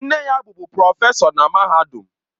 Nne ya bụbu prọfesọ na mahadum.